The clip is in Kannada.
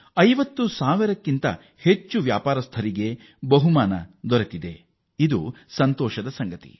50 ಸಾವಿರಕ್ಕೂ ಹೆಚ್ಚು ವ್ಯಾಪಾರಿಗಳು ಬಹುಮಾನ ಗೆದ್ದಿದ್ದಾರೆ